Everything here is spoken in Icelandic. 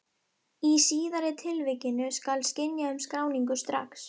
Í síðari tilvikinu skal synja um skráningu strax.